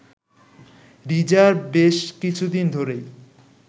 reserve বেশ কিছুদিন ধরেই